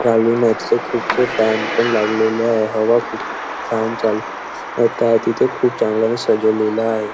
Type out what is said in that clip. खालून खुपसे फॅन पण लागलेले आहे हवा खूप छान चालत तिथे खूप चांगले सजवलेल आहे.